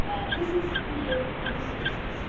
This is the Year of the Citizens.